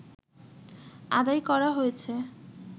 আদায় করা হয়েছে